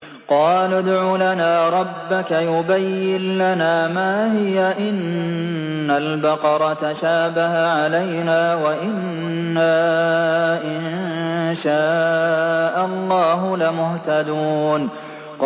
قَالُوا ادْعُ لَنَا رَبَّكَ يُبَيِّن لَّنَا مَا هِيَ إِنَّ الْبَقَرَ تَشَابَهَ عَلَيْنَا وَإِنَّا إِن شَاءَ اللَّهُ لَمُهْتَدُونَ